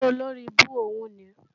Sọ́mọ olóribú òhún níì?